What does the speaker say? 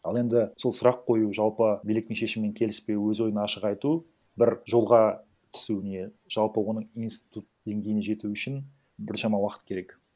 ал енді сол сұрақ қою жалпы биліктің шешімімен келіспеу өз ойын ашық айту бір жолға түсуіне жалпы оның институт деңгейіне жету үшін біршама уақыт керек